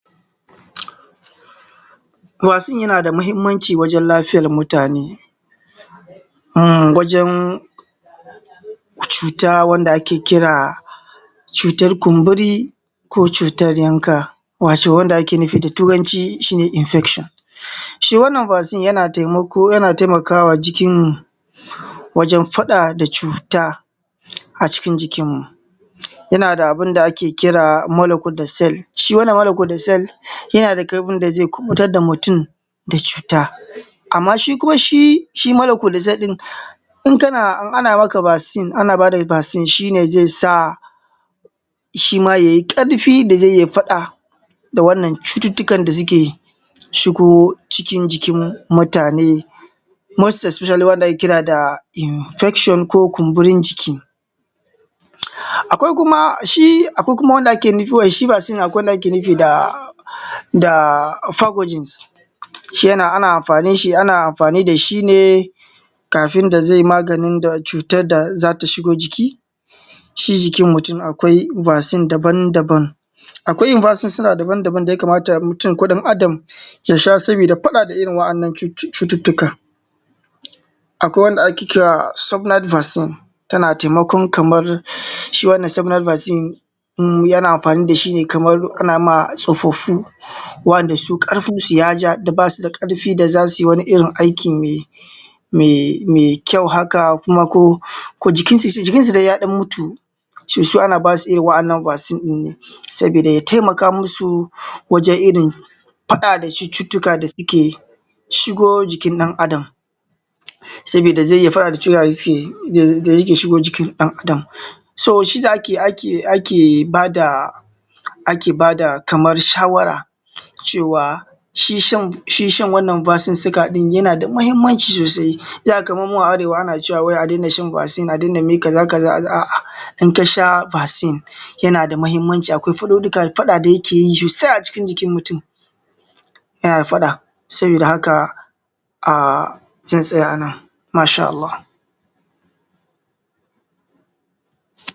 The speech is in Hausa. Vaccine yana da muhimmanci wajan lafiyar mutane. Um wajen cuta wanda ake kira cutan kumburi ko cutan yanka, wato wanda ake nufi da turanci shine infection. Shi wannan vaccine yana taimako, yana taimakawa jikin wajen faɗa da cuta a cikin jikin mu, yana da abun da ake kira molecule da cell. Shi wannan molecule da cell yana da ƙarfin da zai kubutar da mutum da cuta. Amman shi kuma shi shi molocule da cell ɗin in kana ana maka vaccine, in ana bada vaccine, shi ne zai sa shi ma yai ƙarfi da zai iya faɗa da wannan cututtukan da suke shigo cikin jikin mutane, most expecially wanda ake kira da infection ko kunburin jiki. Akwai kuma shi, akwai kuma wanda ake shi vaccine, akwai wanda ake nufi da da upergojins shi ana amfanin shi ana amfani da shine kafin da zai maganin da cutar da za ta shigo jiki shi jikin mutum. Akwai vaccine daban daban, akwai in basussuna daban daban daya kamata mutum ko ɗan Adam ya sha sabida faɗa da irin waɗannan cututtuka, akwai wanda ake kira subnal vaccine tana taimakon kamar shi wannan subnal vaccine ɗin yana amfani da shi kamar ana ma tsofaffu wanda su karfinsu ya ja da ba su da ƙarfin da za su wani irin aikin mai mai kyau haka, kuma ko jikin su dai jikin su dai ya ɗan mutu. To su ana ba su irin waɗannan vaccine ɗin ne sabida ya taimaka musu wajen irin faɗa cututtuka da suke shigo jikin ɗan Adam. Sabida zai iya faɗa da cutuka da zeyi da yake shigo jikin ɗan Adam. So shiyasa da ake ake ake ba da ake bada kamar shawara cewa shi shan shi shan wannan bassinsuka ɗin yana da muhimmanci sosai. Sai a ga kamar mu nan a arewa ana cewa a daina shan vaccine a daina me kaza kaza, a’a in ka sha vaccine yana da muhimmanci, akwai faɗuɗɗuka faɗa da yake yi sosai a jikin mutum. Yana da faɗa sabida haka zan tsaya a nan masha Allah.